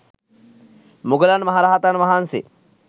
මුගලන් මහ රහතන් වහන්සේ